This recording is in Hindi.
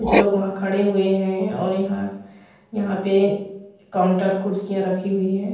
कुछ लोग वहाँ खड़े हुए है और यहाँ यहाँ पे काउंटर कुर्सियां रखी हुई है।